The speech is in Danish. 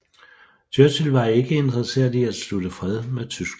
Churchill var ikke interesseret i at slutte fred med Tyskland